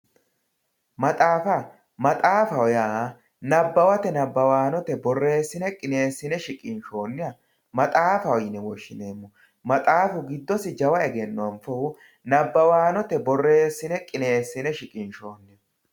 Maxxaafa maxxaafaho ya nabawate nabawanotte boreesinne qinesinne shiqinshoniha maxxaafaho yine woshinemo maxxaafu gidosi jawa egeno anfohu nabawanotte booreesinne qineesine shiqinshoniho